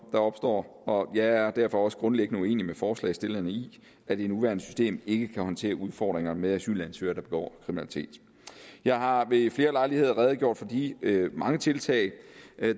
der opstår jeg er derfor også grundlæggende uenig med forslagsstillerne i at det nuværende system ikke kan håndtere udfordringerne med asylansøgere der begår kriminalitet jeg har ved flere lejligheder redegjort for de mange tiltag